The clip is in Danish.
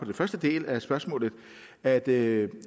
at det